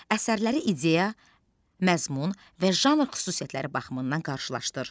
Əsərləri ideya, məzmun və janr xüsusiyyətləri baxımından qarşılaşdır.